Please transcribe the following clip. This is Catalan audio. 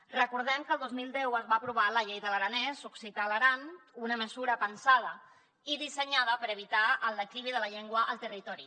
recordem que el dos mil deu es va aprovar la llei de l’aranès occità a l’aran una mesura pensada i dissenyada per evitar el declivi de la llengua al territori